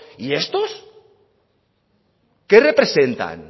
y estos qué representan